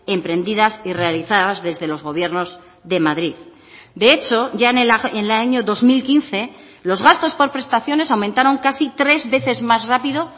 emprendidas y realizadas desde los gobiernos de madrid de hecho ya en el año dos mil quince los gastos por prestaciones aumentaron casi tres veces más rápido